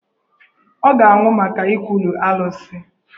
Ọ ga-anwụ maka ikwulu Alụsị.